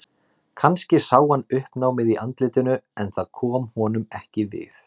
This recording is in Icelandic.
Kannski sá hann uppnámið í andlitinu en það kom honum ekki við.